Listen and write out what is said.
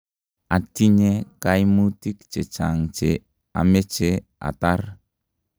atinye kaimutik chechang' che ameche atar